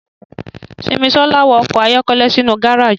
Simisola wa ọkọ ayọkẹlẹ sinu gareji.